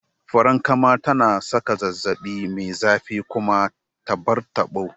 Farankama tana saka zazzabi mai zafi kuma ta bar tabo